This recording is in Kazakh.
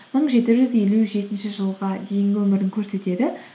мың жеті жүз елу жетінші жылға дейінгі өмірін көрсетеді